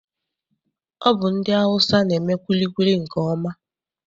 Ọ bụ ndị Awụsa na-eme kwilikwili nke ọma.